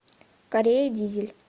корея дизель